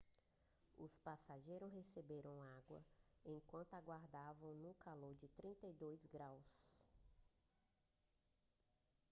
os passageiros receberam água enquanto aguardavam no calor de 32 °c